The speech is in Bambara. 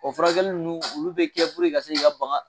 O furakɛli ninnu olu bɛ kɛ puruke ka se k'i ka bagan